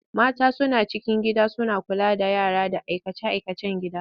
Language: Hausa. Mata suna cikin gida suna kula da yara da aikace-aikacen gida.